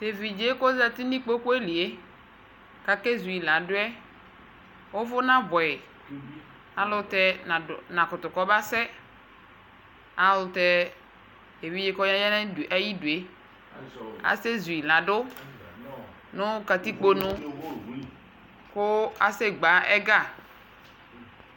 Tevidse kɔzati nikpokue lie, kakezui laɗuɛ, uvu nabuɛ Ayɛlutɛ nakutu kɔbasɛ Ayɛlutɛ eviɗze kɔya nu ayi ḍue asɛ zui laɖu nu katikpo nu ku ase gbe ɛga